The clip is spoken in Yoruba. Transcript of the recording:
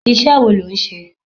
Iṣẹ́ wo lo ń ṣe?